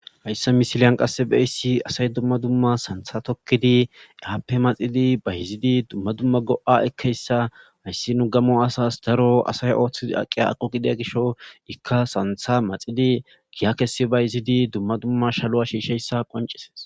Hayssa misilan qase beessi asay dumma dumma sanththa tookidi aappe maxiddi bayziddii dumma dumma go'a eekiyayssa hayssi nu gamo asas nu daro Ooththidi aqiya aaqo gidiyo gishasi iikka sanththa maaxiddi giya kesi bayziddi dumma dumma iishaluwa qonccises